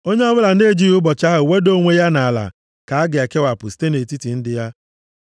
Onye ọbụla na-ejighị ụbọchị ahụ weda onwe ya nʼala ka a ga-ekewapụ site nʼetiti ndị ya.